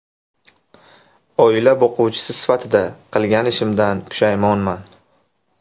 Oila boquvchisi sifatida qilgan ishimdan pushaymonman.